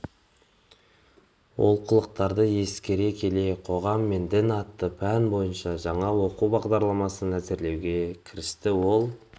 олқылықтарды ескере келе қоғам мен дін атты пән бойынша жаңа оқу бағдарламасын әзірлеуге кірісті ол